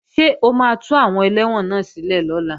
Ṣé o máa tú àwọn ẹlẹ́wọ̀n náà sílẹ̀ lọ́la?